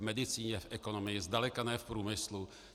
V medicíně, v ekonomii, zdaleka ne v průmyslu.